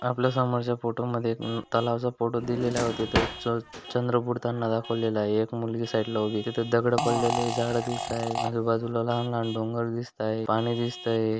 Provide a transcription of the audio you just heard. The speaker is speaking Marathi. आपल्यासमोरच्या फोटो मध्ये एक अ तलावचा फोटो दिलेलाय व तेथे च चंद्र बुडताना दाखवलेलाय. एक मुलगी साइडला उभी तिथ दगड पडलेले झाड दिसाय आजूबाजूला लहान लहान डोंगर दिसताय पाणी दिसतय.